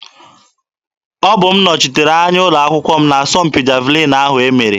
Ọbụ m nọchitere anya ụlọ akwụkwọ m n'asọmpi javalin ahụ e mere.